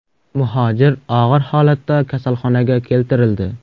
Muhojir og‘ir holatda kasalxonaga keltirildi.